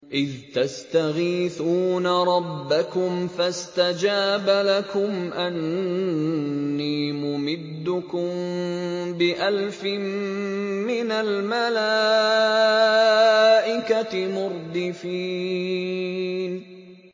إِذْ تَسْتَغِيثُونَ رَبَّكُمْ فَاسْتَجَابَ لَكُمْ أَنِّي مُمِدُّكُم بِأَلْفٍ مِّنَ الْمَلَائِكَةِ مُرْدِفِينَ